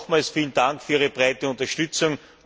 Nochmals vielen Dank für Ihre breite Unterstützung.